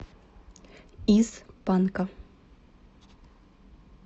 из панка